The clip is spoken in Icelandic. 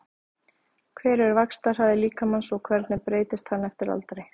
Hver er vaxtarhraði líkamans og hvernig breytist hann eftir aldri?